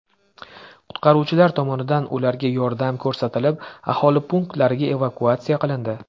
Qutqaruvchilar tomonidan ularga yordam ko‘rsatilib, aholi punktiga evakuatsiya qilindi.